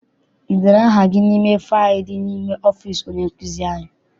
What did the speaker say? I dere aha gị n'ime faịlu dị n'ime ọfịịsi onye nkụzi anyị?